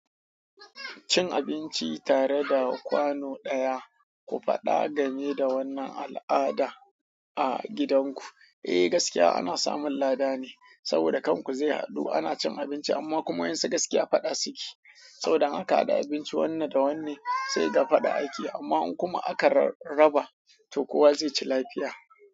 Cin abinci tare da kwano ɗaya, ku faɗa game da wannan al'ada a gidanku. Eh, gaskiya ana samun lada ne, saboda kan ku zai haɗu ana cin abinci amma kuma wayan sun gaskiya faɗa suki. Saboda in aka haɗa abinci wanne da wanne sai kaga faɗa ake amma in kuma aka raba to kowa zai ci lafiya.